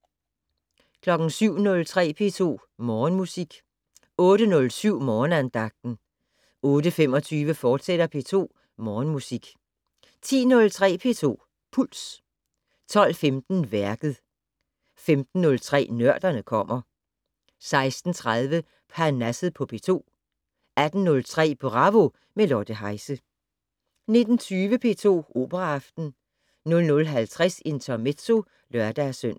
07:03: P2 Morgenmusik 08:07: Morgenandagten 08:25: P2 Morgenmusik, fortsat 10:03: P2 Puls 12:15: Værket 15:03: Nørderne kommer 16:30: Parnasset på P2 18:03: Bravo - med Lotte Heise 19:20: P2 Operaaften 00:50: Intermezzo (lør-søn)